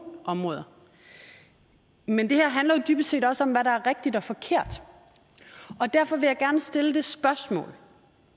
områder men det her handler jo dybest set også om hvad der er rigtigt er forkert derfor vil jeg gerne stille det spørgsmål